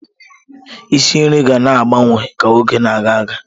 Isi nri ga na-agbanwe ka oge na-aga aga.